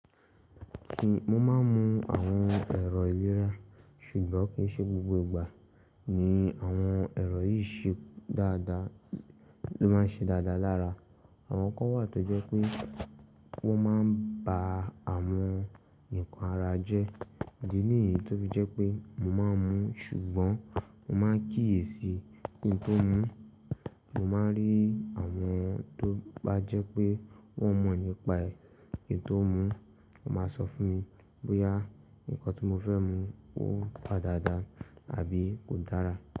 Mo máa ń mu àwọn ẹ̀rọ ìlera, ṣùgbọ́n kì n ṣe gbogbo ìgbà ni àwọn ẹ̀rọ yìí ṣe dáadáa ló máa ń ṣe dáadáa lára. Àwọn kan wà tó jẹ́ pé wọ́n máa ń ba àwọn nǹkan ara jẹ́, idí níyi to fi jẹ́ pé mo máa ń mu, ṣùgbọ́n mo máa ń kíyèsi kí n tó mu. Mo máa ń rí àwọn tó bá jẹ́ pé wọ́n mọ̀ nípa èyí tó mú, wọ́n máa sọ fún mi bóyá nǹkan tí mo fẹ́ mu ó dáa dáadáa àbí kò dára.